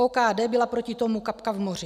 OKD byla proti tomu kapka v moři.